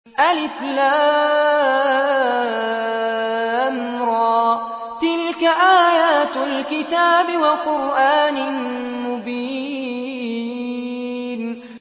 الر ۚ تِلْكَ آيَاتُ الْكِتَابِ وَقُرْآنٍ مُّبِينٍ